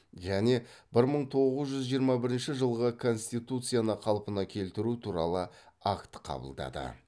және бір мың тоғыз жүз жиырма бірінші жылғы конституцияны қалпына келтіру туралы акт қабылдады